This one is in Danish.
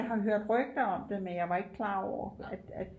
jeg har hørt rygter om det men jeg var ikke klar over at